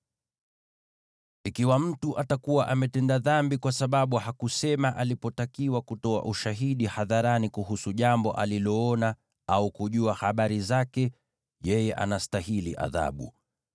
“ ‘Ikiwa mtu atakuwa ametenda dhambi kwa sababu hakusema alipotakiwa kutoa ushahidi hadharani kuhusu jambo aliloona au kujua habari zake, yeye anastahili adhabu.